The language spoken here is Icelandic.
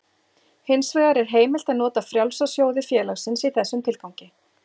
Hins vegar er heimilt að nota frjálsa sjóði félagsins í þessum tilgangi.